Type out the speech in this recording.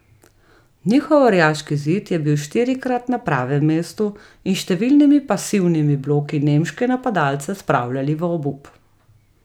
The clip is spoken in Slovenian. Njihov orjaški zid je bil štirikrat na pravem mestu in s številnimi pasivnimi bloki nemške napadalce spravljali v obup.